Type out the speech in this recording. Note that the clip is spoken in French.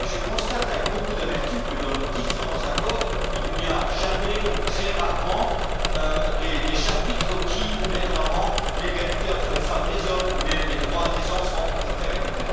Je constate avec beaucoup d'amertume que dans nos différents accords, il n'y a jamais, ou très rarement, de chapitres mettant en avant l'égalité entre les femmes et les hommes, les droits des enfants, etc.